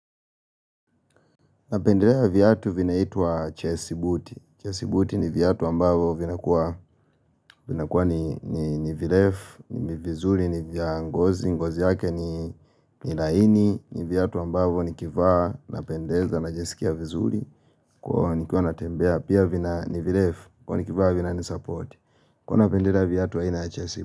Napendelea viatu vinaitwa chesibuti. Chesibuti ni viatu ambavyo vinakuwa ni virefu, ni vizuri, ni vya ngozi, ngozi yake ni laini, ni viatu ambavyo nikivaa, napendeza, najisikia vizuri. Kwa nikiwa natembea, pia vina nivirefu, kuwa nikivaa vina nisupport. Huwa napendelea viatu aina chesibuti.